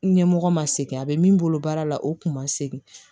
Ɲɛmɔgɔ ma segin a bɛ min bolo baara la o kun ma segin